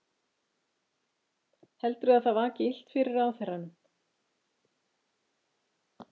Heldurðu að það vaki illt fyrir ráðherranum?